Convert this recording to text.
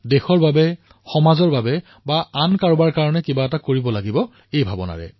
দেশৰ বাবে সমাজৰ বাবে কিবা নহয় কিবা এটা কৰিব লাগে